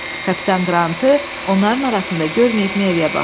Kapitan Qrantı onların arasında görməyib Meriyə baxdı.